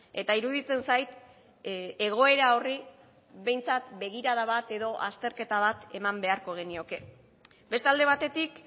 eta iruditzen zait egoera horri behintzat begirada bat edo azterketa bat eman beharko genioke beste alde batetik